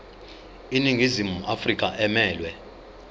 iningizimu afrika emelwe